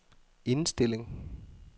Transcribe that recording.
indstilling